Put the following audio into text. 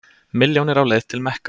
Milljónir á leið til Mekka